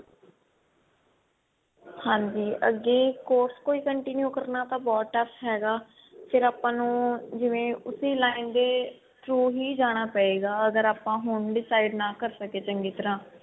ਹਾਂਜੀ ਅੱਗੇ course ਕੋਈ continue ਕਰਨਾ ਤਾਂ ਬਹੁਤ tough ਹੈਗਾ ਫੇਰ ਆਪਾਂ ਨੂੰ ਜਿਵੇ ਉਸੀ line ਦੇ through ਹੀ ਜਾਣਾ ਪਏਗਾ ਅਗਰ ਆਪਾਂ ਹੁਣ decide ਨਾ ਕਰ ਸਕੇ ਚੰਗੀ ਤਰ੍ਹਾਂ